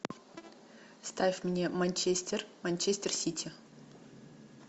ставь мне манчестер манчестер сити